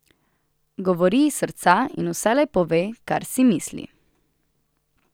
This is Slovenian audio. Govori iz srca in vselej pove, kar si misli.